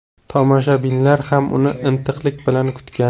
Tomoshabinlar ham uni intiqlik bilan kutgan.